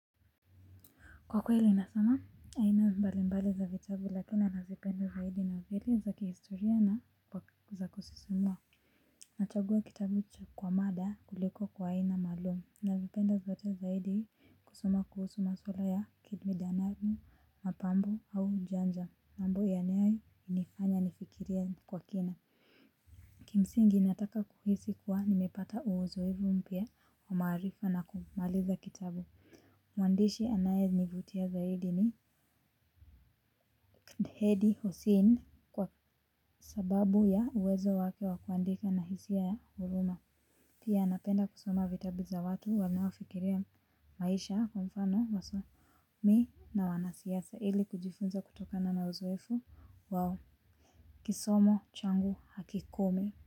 Kwa kweli nasoma aina mbali mbali za vitabu lakini nazipenda zaidi na vile za kihistoria na za kusisumua. Nachagua kitabu cha kwa mada kuliko kwa aina malumu. Navipenda zote zaidi hii kusoma kuhusu maswala ya kibidanamu mapambo au janja mambo yanayo inifanya nifikiria kwa kina. Kimsingi inataka kuhisi kuwa nimepata uzoevu mpya wa maarifa na kumaliza kitabu. Mwandishi anaye nivutia zaidi ni Hedi husein kwa sababu ya uwezo wake wa kuandika na hisia ya uruma. Pia napenda kusoma vitabu za watu wanaofikiria maisha kwa mfano waso Mi na wanasiasa ili kujifunza kutokana na uzoefu wao. Kisomo changu hakikomi.